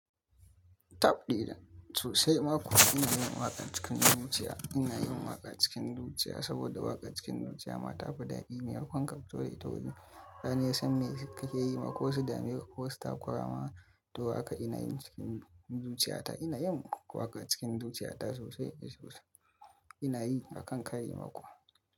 Taɓ ɗijan sosai makuwa ina yin waƙar cikin zuciya. Ina yin waƙa cikin zuciya saboda waƙar cikin zuciya matafi daɗi. Me ma konkafito da ita waje. Dan iya san me kake yi ma ko su dame ko wasu takwarama, to haka ina yin cikin zuciyata. Ina yin waƙa cikin zuciyata sosai sosai. Ina yi akan kari makuwa.